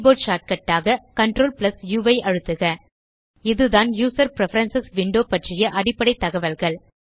keyboard shortcut ஆக CTRl ஆம்ப் உ ஐ அழுத்துக இதுதான் யூசர் பிரெஃபரன்ஸ் விண்டோ பற்றிய அடிப்படை தகவல்கள்